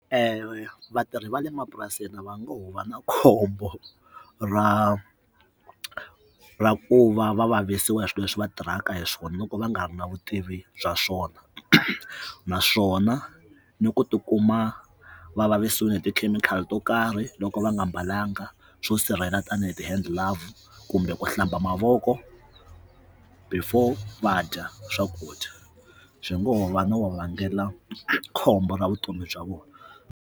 Vatirhi va le mapurasini va ngo va na khombo ra ra ku va va vavisiwa hi swilo leswi va tirhaka hi swona loko va nga ri na vutivi bya swona naswona ni ku tikuma va vavisekile hi tikhemikhali to karhi loko va nga mbalanga swo sirhelela tanihi ti handle live kumbe ku hlamba mavoko before va dya swakudya swi ngoho va no vangela khombo ra vutomi bya vona.